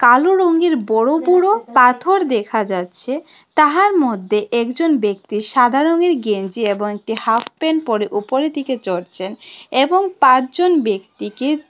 কালো রঙের বড়ো বড়ো পাথর দেখা যাচ্ছে তাহার মধ্যে একজন ব্যক্তি সাদা রঙের গেঞ্জি এবং একটি হাফ প্যান্ট পরে ওপরের দিকে চড়ছেন এবং পাঁচজন ব্যক্তিকে--